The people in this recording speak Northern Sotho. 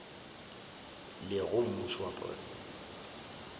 le go mmušo wa profense